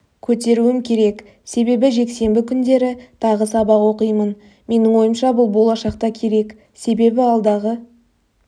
көтеруім керек сенбі жексенбі күндері тағы сабақ оқимын менің ойымша бұл болашақта керек себебі алдағы